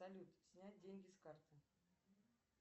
салют снять деньги с карты